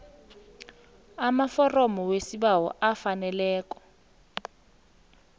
amaforomo wesibawo afaneleko